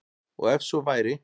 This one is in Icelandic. Og ef svo væri